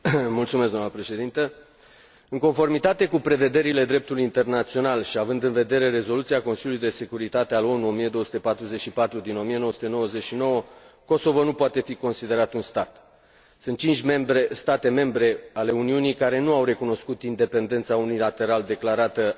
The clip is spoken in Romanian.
În conformitate cu prevederile dreptului internațional și având în vedere rezoluția Consiliului de Securitate al ONU 1244 din 1999, Kosovo nu poate fi considerat un stat. Sunt cinci state membre ale Uniunii care nu au recunoscut independența unilateral declarată a Kosovo.